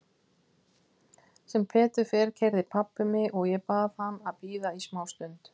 Sem betur fer keyrði pabbi mig og ég bað hann að bíða í smá stund.